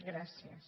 gràcies